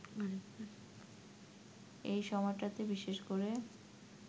এসময়টাতে বিশেষ করে